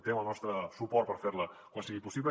té el nostre suport per fer la quan sigui possible